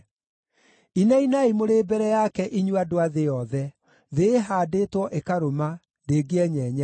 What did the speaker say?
Inainai mũrĩ mbere yake, inyuĩ andũ a thĩ yothe! Thĩ ĩhaandĩtwo ĩkarũma; ndĩngĩenyenyeka.